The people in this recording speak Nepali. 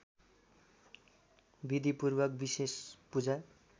विधिपूर्वक विशेष पूजा